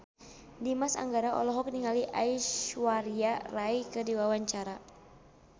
Dimas Anggara olohok ningali Aishwarya Rai keur diwawancara